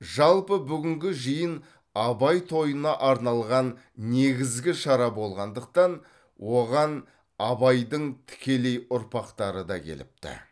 жалпы бүгінгі жиын абай тойына арналған негізгі шара болғандықтан оған абайдың тікелей ұрпақтары да келіпті